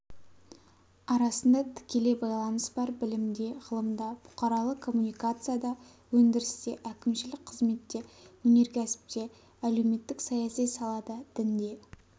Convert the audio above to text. арасында тікелей байланыс бар білімде ғылымда бұқаралық коммуникацияда өндірісте әкімшілік қызметте өнеркәсіпте әлеуметтік-саяси салада дінде